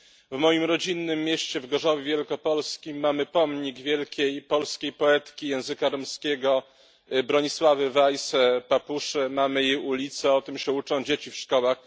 W moim rodzinnym mieście, w Gorzowie Wielkopolskim, mamy pomnik wielkiej polskiej poetki języka romskiego Bronisławy Wajs mamy jej ulicę, o tym się uczą dzieci w szkołach.